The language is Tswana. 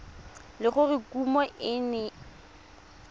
le gore kumo e ne